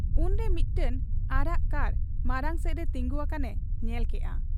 ᱩᱱᱨᱮ ᱢᱤᱫᱴᱟᱹᱝ ᱟᱨᱟᱜ ᱠᱟᱨ ᱢᱟᱬᱟᱝᱥᱮᱫᱨᱮ ᱛᱤᱸᱜᱩ ᱟᱠᱟᱱ ᱮ ᱧᱮᱞ ᱠᱮᱜ ᱟ ᱾